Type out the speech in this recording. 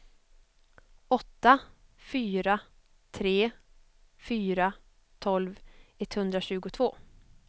åtta fyra tre fyra tolv etthundratjugotvå